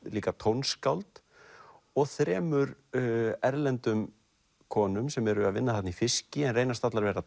líka tónskáld og þremur erlendum konum sem eru að vinna þarna í fiski en reynast allar vera